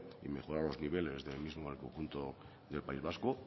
y mejorar los niveles del mismo en el conjunto del país vasco